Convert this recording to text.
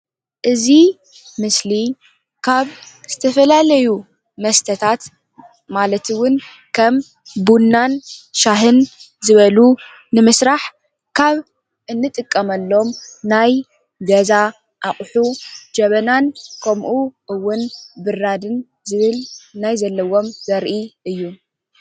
እዚ ምስሊ ካብ ዝተፈላለዩ መስተታት ማለት እውን ከም ቡናን ሻሂን ዝበሉ ንምስራሕ ካብ እንጥቀመሎም ናይ ገዛ ኣቁሑ ጀበናን ከምኡ እውን ብራድን ዝብል ናይ ዘለዎ ዘርኢ እዩ፡፡